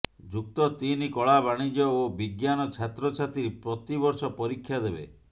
ଯୁକ୍ତ ତିନି କଳା ବାଣିଜ୍ୟ ଓ ବିଜ୍ଞାନ ଛାତ୍ରଛାତ୍ରୀ ପ୍ରତିବର୍ଷ ପରୀକ୍ଷା ଦେବେ